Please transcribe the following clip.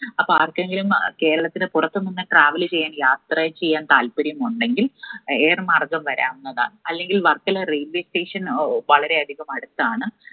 അപ്പൊ ആർക്കെങ്കിലും അഹ് കേരളത്തിന് പുറത്തുനിന്ന് travel ചെയ്യാൻ യാത്ര ചെയ്യാൻ താല്പര്യം ഉണ്ടെങ്കിൽ air മാർഗം വരാവുന്നതാണ് അല്ലെങ്കിൽ വർക്കല railway station ഓ വളരെയധികം അടുത്താണ്